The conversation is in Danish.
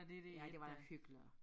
Ja det var hyggeligt også